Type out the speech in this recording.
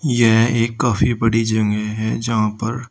यह एक काफी बड़ी जगह है जहां पर--